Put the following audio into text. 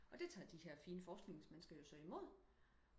og det tager de her fine forskningsmennesker jo så imod